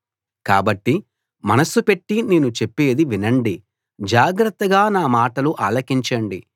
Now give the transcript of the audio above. కాబట్టి మనస్సు పెట్టి నేను చెప్పేది వినండి జాగ్రత్తగా నా మాటలు ఆలకించండి